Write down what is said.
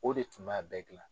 O de tun b'a bɛɛ gilan.